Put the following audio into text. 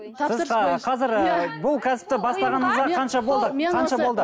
тапсырысқа қазір ыыы бұл кәсіпті бастағаныңызға қанша болды қанша болды